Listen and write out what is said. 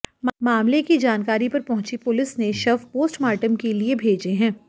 मामले की जानकारी पर पहुंची पुलिस ने शव पोस्टमार्टम के लिए भेजे हैं